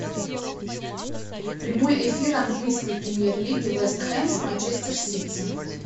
прямой эфир английской премьер лиги вест хэм с манчестер сити